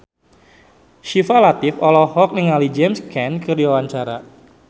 Syifa Latief olohok ningali James Caan keur diwawancara